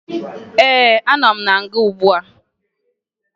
Ee, anọ m na nga ugbua